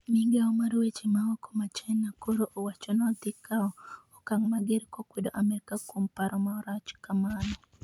migao mar weche maoko ma china koro owacho nodhikawo okang' mager kokwedo Amerka kuom paro marach kamano